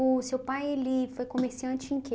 O seu pai, ele foi comerciante em quê?